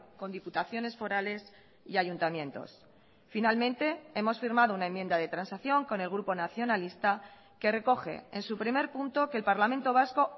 con diputaciones forales y ayuntamientos finalmente hemos firmado una enmienda de transacción con el grupo nacionalista que recoge en su primer punto que el parlamento vasco